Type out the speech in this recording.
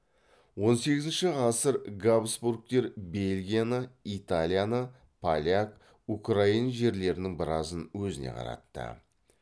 он сегізінші ғасыр габсбургтер бельгияны италияны поляк украин жерлерінің біразын өзіне қаратты